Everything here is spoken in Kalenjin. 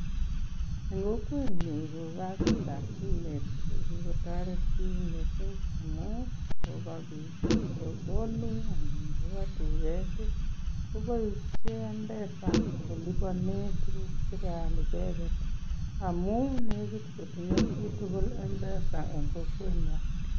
Eng kokwenyu ko kazitab simet ko kikotoret bik missing amu ngoba bik sokoni anan koba duket koboishe mpesa kolipone tuguk che keal icheket amu nekit kotinye chi tugul mpesa eng kokwenyo.